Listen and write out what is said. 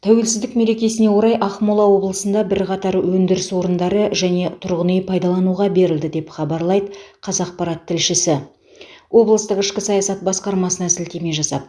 тәуелсіздік мерекесіне орай ақмола облысында бірқатар өндіріс орындары және тұрғын үй пайдалануға берілді деп хабарлайды қазақпарат тілшісі облыстық ішкі саясат басқармасына сілтеме жасап